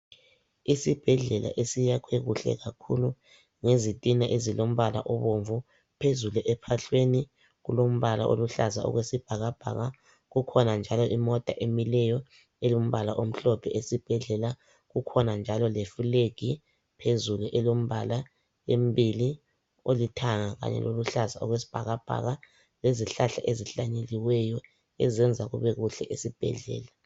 Esibhedlela esiyakhwe kuhle kakhulu ngezitina ezilombala obomvu phezulu ephahlweni kulombala oluhlaza okwesibhakabhaka kukhona njalo imota emileyo elombala omhlophe esibhedlela kukhona njalo le fulegi phezulu elombala embili olithanga kanye loluhlaza okwesibhakabhaka lezihlahla ezihlanyeliweyo ezenza kube kuhle esibhedlela .